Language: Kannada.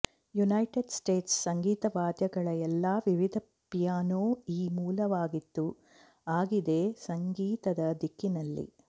ಯುನೈಟೆಡ್ ಸ್ಟೇಟ್ಸ್ ಸಂಗೀತ ವಾದ್ಯಗಳ ಎಲ್ಲಾ ವಿವಿಧ ಪಿಯಾನೋ ಈ ಮೂಲವಾಗಿತ್ತು ಆಗಿದೆ ಸಂಗೀತದ ದಿಕ್ಕಿನಲ್ಲಿ